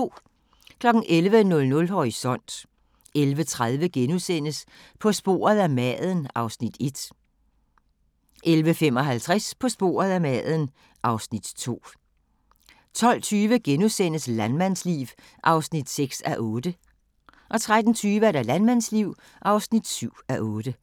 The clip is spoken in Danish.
11:00: Horisont 11:30: På sporet af maden (Afs. 1)* 11:55: På sporet af maden (Afs. 2) 12:20: Landmandsliv (6:8)* 13:20: Landmandsliv (7:8)